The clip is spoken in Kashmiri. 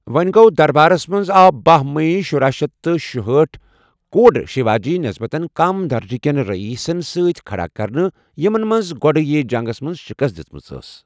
وونہِ گو٘و دربارس منز آو بٔہہ مئی شُراہ شیتھ تہٕ شُہأٹھ کوٚرُھ شیواجی نسبتاً کم درجہٕ کٮ۪ن رئیسن سۭتۍ کھڑا كرنہٕ ، یِمن منٛز گۄڈیہ جنگس منٛز شِکست دِژمٕژ ٲس ۔